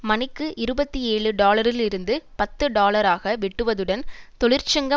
மணிக்கு இருபத்தி ஏழு டாலரிலிருந்து பத்து டாலராக வெட்டுவதுடன் தொழிற்சங்க